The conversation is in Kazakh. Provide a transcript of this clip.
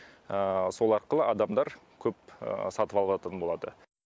сол арқылы адамдар көп сатып алатын болады